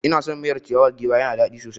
Ina son miyar ciyawar giwa ya na da dadi sosai